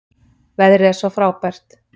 Veðrið er svo frábært.